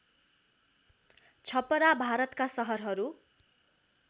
छपरा भारतका सहरहरू